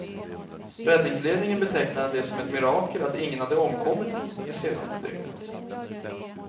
Räddningsledningen betecknade det som ett mirakel att ingen hade omkommit det senaste dygnet.